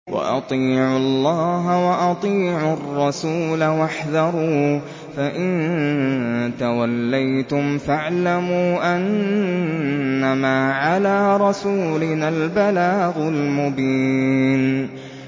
وَأَطِيعُوا اللَّهَ وَأَطِيعُوا الرَّسُولَ وَاحْذَرُوا ۚ فَإِن تَوَلَّيْتُمْ فَاعْلَمُوا أَنَّمَا عَلَىٰ رَسُولِنَا الْبَلَاغُ الْمُبِينُ